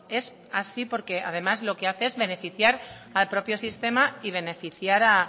es así porque además lo que hace es beneficiar al propio sistema y beneficiar